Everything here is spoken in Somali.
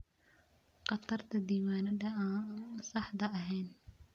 Khatarta diiwaannada aan saxda ahayn.